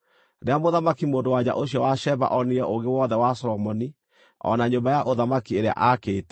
Rĩrĩa mũthamaki-mũndũ-wa-nja ũcio wa Sheba onire ũũgĩ wothe wa Solomoni o na nyũmba ya ũthamaki ĩrĩa aakĩte,